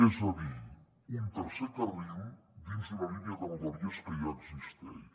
és a dir un tercer carril dins d’una línia de rodalies que ja existeix